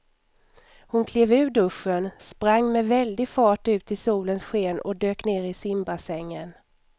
Hon klev ur duschen, sprang med väldig fart ut i solens sken och dök ner i simbassängen.